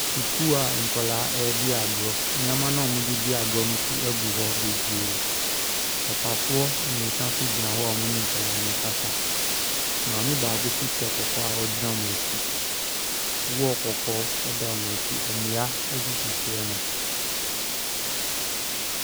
Sukuu a nkɔlaa ɛredi agorɔ. Nnoɔma no a wɔn de redi agorɔ no nso gu hɔ bebree. Papafoɔ mmiɛnsa nso gyina hɔ a wɔn ne nkɔlaa ne ɛrekasa. Maame baako nso hyɛ kɔkɔɔ a ɔgyina wɔn akyi. Wɔɔl kɔkɔɔ ɛda wɔn akyi. Nnua nso sisi hɔnom.